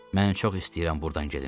Mən çox istəyirəm burdan gedim.